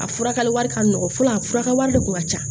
A furakɛli wari ka nɔgɔ fɔlɔ a fura ka wari de kun ka ca